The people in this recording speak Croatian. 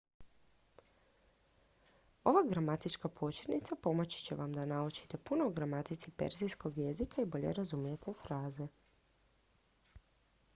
ova gramatička početnica pomoći će vam da naučite puno o gramatici perzijskog jezika i bolje razumijete fraze